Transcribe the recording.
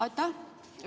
Aitäh!